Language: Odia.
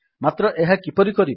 ମାତ୍ର ଏହା କିପରି କରିବା